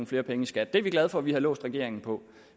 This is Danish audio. flere penge i skat det er vi glade for at vi har låst regeringen på